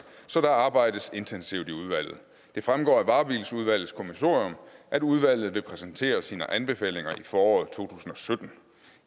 så der arbejdes intensivt i udvalget det fremgår af varebiludvalgets kommissorium at udvalget vil præsentere sine anbefalinger i foråret to tusind og sytten